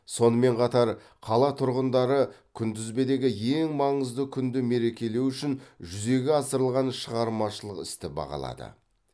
сонымен қатар қала тұрғындары күнтізбедегі ең маңызды күнді мерекелеу үшін жүзеге асырылған шығармашылық істі бағалады